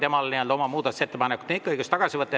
Temal on ikka õigus oma muudatusettepanek tagasi võtta.